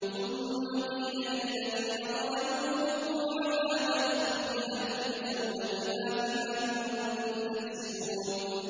ثُمَّ قِيلَ لِلَّذِينَ ظَلَمُوا ذُوقُوا عَذَابَ الْخُلْدِ هَلْ تُجْزَوْنَ إِلَّا بِمَا كُنتُمْ تَكْسِبُونَ